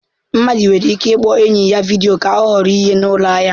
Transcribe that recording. Mmadụ nwere ike ịkpọ enyi ya vidiyo ka ọ họrọ ihe na ụlọ ahịa.